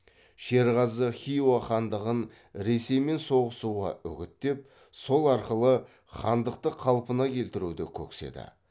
шерғазы хиуа хандығын ресеймен соғысуға үгіттеп сол арқылы хандықты қалпына келтіруді көкседі